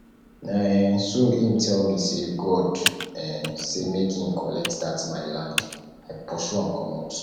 na um so im tell me sey god um say make im collect dat my land i pursue am comot